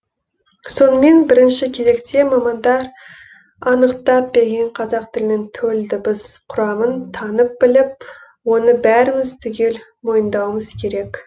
сонымен бірінші кезекте мамандар анықтап берген қазақ тілінің төл дыбыс құрамын танып біліп оны бәріміз түгел мойындауымыз керек